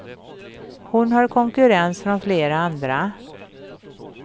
Hon har konkurrens från flera andra.